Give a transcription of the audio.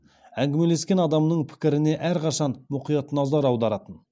әңгімелескен адамының пікіріне әрқашан мұқият назар аударатын